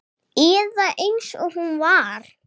Eða eins og hún var.